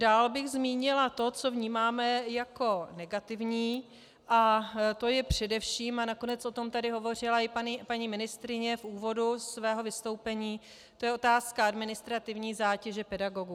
Dále bych zmínila to, co vnímáme jako negativní, a to je především, a nakonec o tom tady hovořila i paní ministryně v úvodu svého vystoupení, to je otázka administrativní zátěže pedagogů.